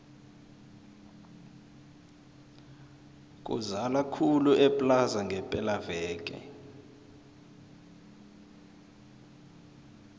kuzala khulu eplaza ngepela veke